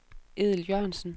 Edel Jørgensen